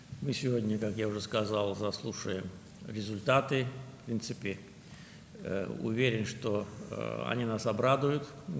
Bu gün biz, artıq dediyim kimi, nəticələri dinləyəcəyik, əminəm ki, onlar bizi sevindirəcək.